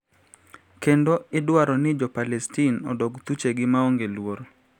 Kendo idwaro ni Jo Palestin odog thuchegi maonge luoro